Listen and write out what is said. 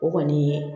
O kɔni ye